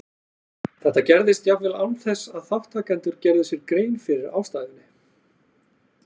Þetta gerðist jafnvel án þess að þátttakendur gerðu sér grein fyrir ástæðunni.